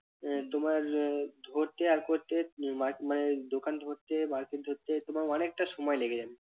আহ তোমার আহ ধরতে আর করতে মা~ মানে দোকান ধরতে market ধরতে তোমার অনেকটা সময় লেগে যাবে।